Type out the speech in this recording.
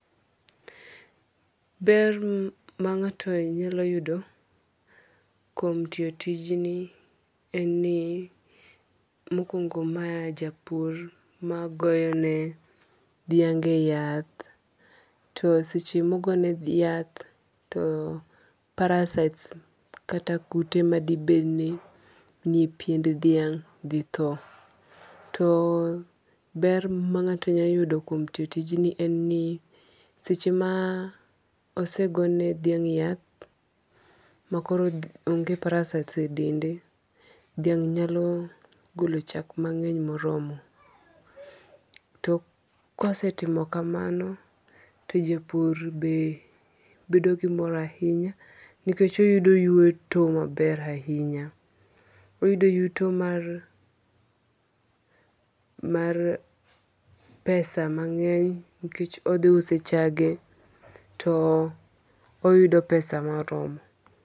Ber ma ng'ato nyalo yudo kuom tiyo tijni en ni mokwongo ma japur magoyo ne dhiange yath. To seche mogo ne yath to parasites kata kute madi beni nie piend dhiang' dhi tho. To ber ma ng'ato nya yudo kuom tiyo tijni en ni seche ma osego ne dhiang' yath ma koro onge parasites e dende, dhiang' nyalo golo chak mang'eny moromo. To kosetimo kamano to japur be bedo gi mor ahinya nikech oyudo yuto maber ahinya. Oyudo yuto mar pesa mang'eny nikech odhi uso chage to oyudo pesa moromo.